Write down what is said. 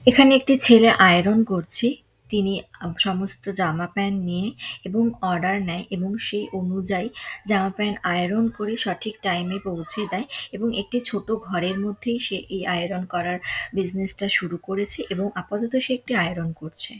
এখানে একটি ছেলে আইরন করছে তিনি আ সমস্ত জামা প্যান্ট নিয়ে এবং অর্ডার নায় এবং সেই অনুযায়ী জামা প্যান্ট আইরন করে সঠিক টাইম পৌঁছে দেয় এবং একটি ছোট ঘরের মধ্যেই সে এই আইরন করার বিসনেস টা শুরু করেছে এবং আপাতত সে একটি আইরন করছে।